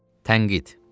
Tənqid.